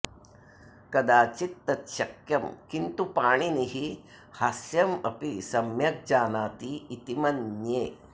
कदाचित् तत् शक्यं किन्तु पाणिनिः हास्यमपि सम्यग् जानाति इति मन्ये